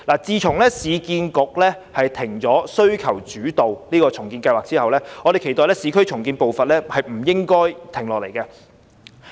自從市建局暫停需求主導重建計劃後，我們期待市區重建的步伐亦不應因此而停下來。